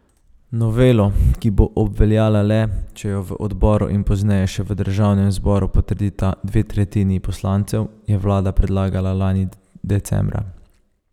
Novelo, ki bo obveljala le, če jo v odboru in pozneje še v državnem zboru potrdita dve tretjini poslancev, je vlada predlagala lani decembra.